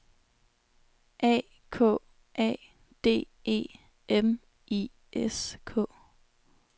A K A D E M I S K